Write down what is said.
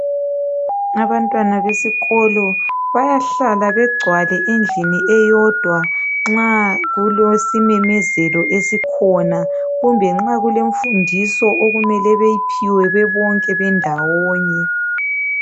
Abantwana besikolo bayahlala begcwale endlini eyodwa nxa kulosimemezelo esikhona. Kumbe nxa kulemfundiso okumele beyiphiwe bebonke bendawonye.